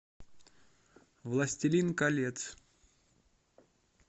властелин колец